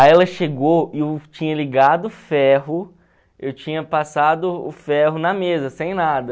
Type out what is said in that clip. Aí ela chegou e eu tinha ligado o ferro, eu tinha passado o ferro na mesa, sem nada.